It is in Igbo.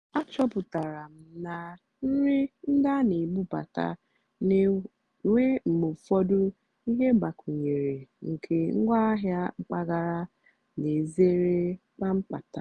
àchọ́pụ́tárá m nà nrì ndí á nà-èbúbátá nà-ènwé mgbe ụ́fọ̀dụ́ íhé mgbàkwúnyéré nkè ngwáàhịá mpàgàrà nà-èzèré kpàmkpámtà.